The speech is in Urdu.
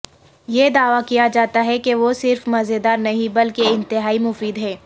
یہ دعوی کیا جاتا ہے کہ وہ صرف مزیدار نہیں بلکہ انتہائی مفید ہیں